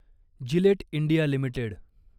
Gillette India limited